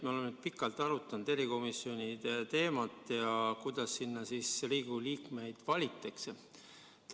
Me oleme nüüd pikalt arutanud erikomisjonide teemat ja seda, kuidas sinna Riigikogu liikmeid valitakse.